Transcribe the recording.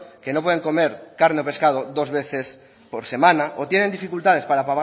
que no pueden comer carne o pescado dos veces por semana o tienen dificultades para